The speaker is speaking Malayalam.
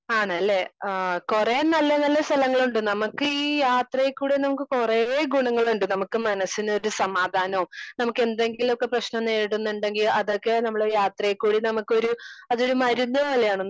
സ്പീക്കർ 2 ആണല്ലേ? ആഹ് കുറേ നല്ല നല്ല സ്ഥലങ്ങളുണ്ട്. നമ്മക്ക് ഈ യാത്രീക്കൂടെ നമുക്ക് കുറേ ഗുണങ്ങളുണ്ട്. നമുക്ക് മനസ്സിലൊരു സമാദാനോം നമുക്ക് എന്തെങ്കിലൊക്ക പ്രശ്നം നേരിടുന്നുണ്ടെങ്കി അതൊക്കെ നമ്മള് യത്രേ കൂടി നമുക്കൊരു അതൊരു മരുന്ന് തന്നെയാണ്.